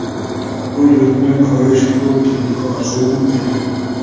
Bu yurtni ko‘rish ko‘p yillik orzum edi.